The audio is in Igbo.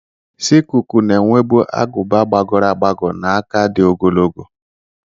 Sikuku na-enwebu agụba gbagọrọ agbagọ na aka dị ogologo.